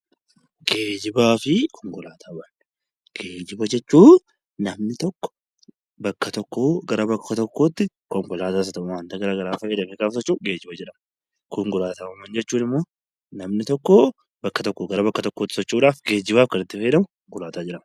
Geejibaa fi konkolaataawwan Geejiba jechuun namni tokko bakka tokkoo gara bakka tokkotti konkolaataas haa ta'uu waan biraas geejiba jedhama. Konkolaataawwan jechuun immoo namni tokko bakka tokkootii gara bakka biraatti socho'uudhaaf kan itti fayyadamu geejiba jedhama.